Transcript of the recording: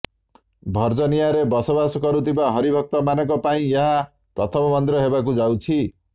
ଭର୍ଜିନିଆରେ ବସବାସ କରୁଥିବା ହରିଭକ୍ତମାନଙ୍କ ପାଇଁ ଏହା ପ୍ରଥମ ମନ୍ଦିର ହେବାକୁ ଯାଉଛି